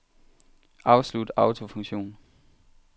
Afslut autofunktion.